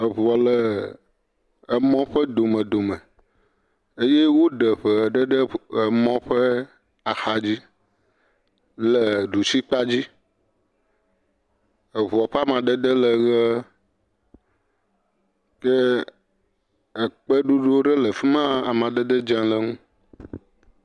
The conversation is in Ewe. Eŋuɔ le emɔ ƒe domedome eye woɖe eŋe aɖe ɖe emɔ ƒe axadzi le ɖusi kpadzi, eŋuɔ ƒe amadede le ʋe, ye ekpe ɖoɖo le afi ma, amadede dze le ŋu.